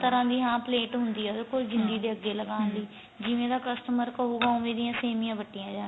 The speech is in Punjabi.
ਤਰ੍ਹਾਂ ਦੀ plate ਹੁੰਦੀ ਏ ਉਹਦੇ ਕੋਲ ਜਿੰਦੀ ਦੇ ਅੱਗੇ ਲਗਾਉਣ ਲਈ ਜਿਵੇਂ ਦਾ costumer ਕਹੂਗਾ ਉਵੇਂ ਦੀਆਂ ਸੇਮੀਆਂ ਵੱਟੀਆਂ ਜਾਂ ਗੀਆਂ